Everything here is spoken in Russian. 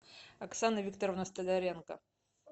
оксана викторовна столяренко